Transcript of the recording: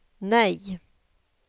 nej